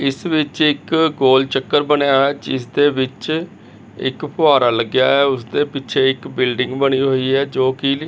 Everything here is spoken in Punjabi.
ਇੱਸ ਵਿੱਚ ਇੱਕ ਗੋਲ ਚੱਕਰ ਬਨੇਯਾ ਹੋਯਾ ਹੈ ਜਿੱਸ ਦੇ ਵਿੱਚ ਇੱਕ ਫੁਹਾਰਾ ਲੱਗਿਆ ਹੋਯਾ ਹੈ ਓਸਦੇ ਪਿੱਛੇ ਇੱਕ ਬਿਲਡਿੰਗ ਬਣੀ ਹੋਈ ਹੈ ਜੋਕੀ--